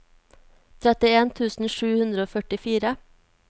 trettien tusen sju hundre og førtifire